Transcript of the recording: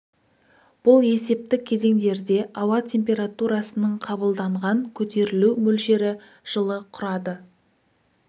бұл есептік кезеңдерде ауа температурасының қабылданған көтерілу мөлшері жылы құрады